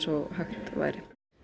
og hægt væri